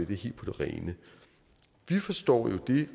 det helt på det rene vi forstår jo at det